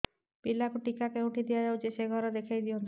ପିଲାକୁ ଟିକା କେଉଁଠି ଦିଆଯାଉଛି ସେ ଘର ଦେଖାଇ ଦିଅନ୍ତୁ